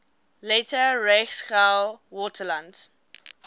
later reichsgau wartheland